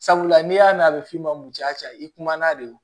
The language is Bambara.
Sabula n'i y'a mɛn a bɛ f'i ma munya ca i kumana de don